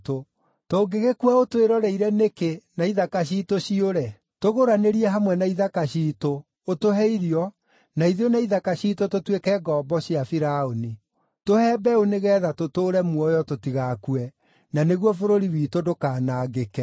Tũngĩgĩkua ũtwĩroreire nĩkĩ, ithuĩ na ithaka ciitũ hamwe? Tũgũranĩrie hamwe na ithaka ciitũ, ũtũhe irio, na ithuĩ na ithaka ciitũ tũtuĩke ngombo cia Firaũni. Tũhe mbeũ nĩgeetha tũtũũre muoyo, tũtigakue, na nĩguo bũrũri witũ ndũkanangĩke.”